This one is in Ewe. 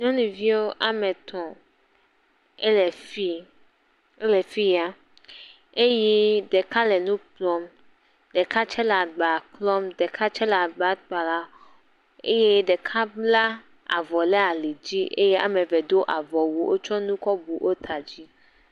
Nyɔnuviwo wɔme etɔ̃ ele fi ele fia eye ɖeka le nu kplɔm, ɖeka tsɛ le agba klɔm, ɖeka tsɛ le agba kpalam eye ɖeka bla avɔ ɖe alidzi eye wɔme eve do avɔwu wotsɔ nu kɔ bu wo ta dzi.